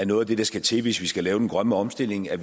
noget af det der skal til hvis vi skal lave den grønne omstilling er